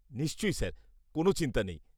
-নিশ্চয়ই স্যার, কোন চিন্তা নেই।